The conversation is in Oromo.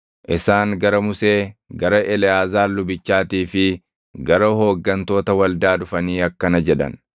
Isaan gara Musee, gara Eleʼaazaar lubichaatii fi gara hooggantoota waldaa dhufanii akkana jedhan;